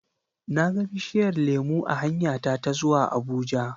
na ga bishiyar lemu a hanyata ta zuwa Abuja.